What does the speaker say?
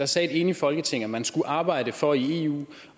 sagde et enigt folketing at man skulle arbejde for i eu